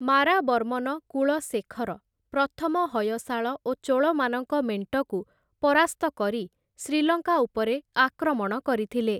ମାରାବର୍ମନ କୁଳଶେଖର ପ୍ରଥମ ହୟଶାଳ ଓ ଚୋଳମାନଙ୍କ ମେଣ୍ଟକୁ ପରାସ୍ତ କରି ଶ୍ରୀଲଙ୍କା ଉପରେ ଆକ୍ରମଣ କରିଥିଲେ ।